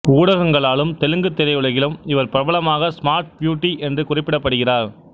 ஊடகங்களாலும் தெலுங்குத் திரையுலகிலும் இவர் பிரபலமாக ஸ்மார்ட் பியூட்டி என்று குறிப்பிடப்படுகிறார்